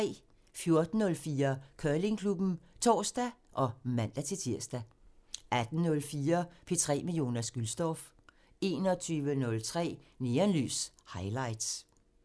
14:04: Curlingklubben (tor og man-tir) 18:04: P3 med Jonas Gülstorff 21:03: Neonlys – Highlights